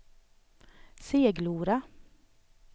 Seglora